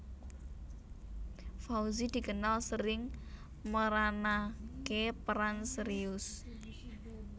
Fauzi dikenal sering meranaké peran serius